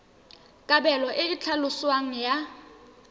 kabelo e e tlhaloswang ya